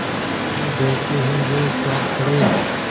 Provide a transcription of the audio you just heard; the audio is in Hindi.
उसे देखते ही वे चौंक पड़े